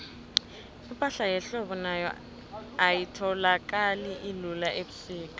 ipahla yehlobo nayo ayitholakali lula ubusika